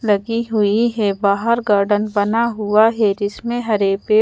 लगी हुई है बाहर गार्डन बना हुआ है जिसमें हरे पेड़ --